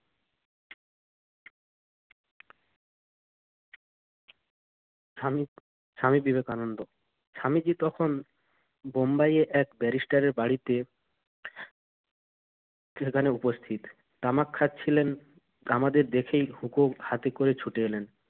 স্বামী~স্বামী বিবেকানন্দ স্বামীজি তখন বোম্বাইয়ের এক ব্যারিস্টারের বাড়িতে সেখানে উপস্থিত। তামাক খাচ্ছিলেন। আমাদের দেখেই হুকো হাতে করে ছুটে এলেন।